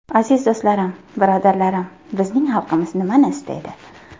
Aziz do‘stlarim, birodarlarim, bizning xalqimiz nimani istaydi?